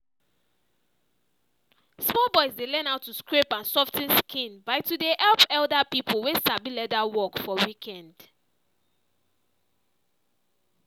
small boys dey learn how to scrape and sof ten skin by to dey help elder people wey sabi leather work for weekend.